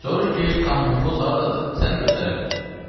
Soruş ki, Komunxoz hardadır, sənə göstərərlər."